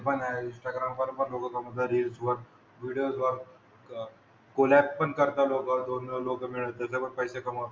हो हो ते पण आहे. इंस्टाग्रामवर पण लोकं कमवतात रील्सवर. व्हिडीओजला क कोलॅब पण करतात लोकं दोन-दोन लोकं मिळून ते त्याच्यावर पैसे कमवतात.